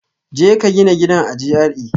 Jeka gina gidan a GRA